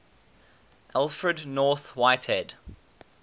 alfred north whitehead